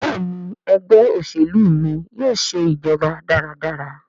Béèni Ẹgbẹ́ òṣèlú mí yóò ṣe ìjọba dára dára.